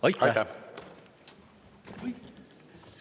Aitäh!